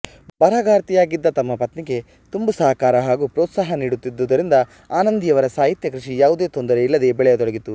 ಬರಹಗಾರ್ತಿಯಾಗಿದ್ದ ತಮ್ಮ ಪತ್ನಿಗೆ ತುಂಬು ಸಹಕಾರ ಹಾಗೂ ಪ್ರೋತ್ಸಾಹ ನೀಡುತ್ತಿದ್ದುದರಿಂದ ಆನಂದಿಯವರ ಸಾಹಿತ್ಯ ಕೃಷಿ ಯಾವುದೇ ತೊಂದರೆಯಿಲ್ಲದೆ ಬೆಳೆಯತೊಡಗಿತು